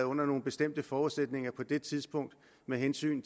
under nogle bestemte forudsætninger på det tidspunkt med hensyn